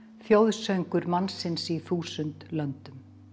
þjóðsöngur mannsins í þúsund löndum